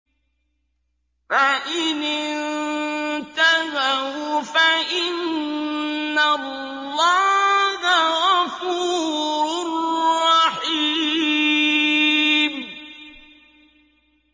فَإِنِ انتَهَوْا فَإِنَّ اللَّهَ غَفُورٌ رَّحِيمٌ